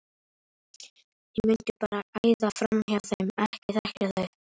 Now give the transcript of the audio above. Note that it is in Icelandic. ég mundi bara æða framhjá þeim. ekki þekkja þau!